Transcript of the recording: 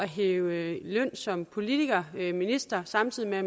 hæve løn som politiker minister samtidig med at